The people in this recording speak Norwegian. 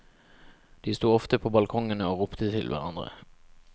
De sto ofte på balkongene og ropte til hverandre.